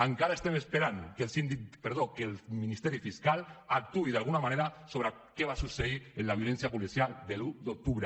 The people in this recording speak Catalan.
encara estem esperant que el ministeri fiscal actuï d’alguna manera sobre què va succeir en la violència policial de l’un d’octubre